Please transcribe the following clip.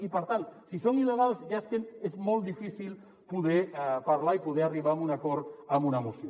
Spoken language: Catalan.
i per tant si són il·legals és molt difícil poder parlar·ne i poder arribar a un acord amb una moció